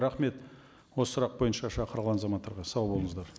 рахмет осы сұрақ бойынша шақырылған азаматтарға сау болыңыздар